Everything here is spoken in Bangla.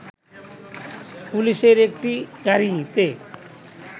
পুলিশের একটি গাড়িতে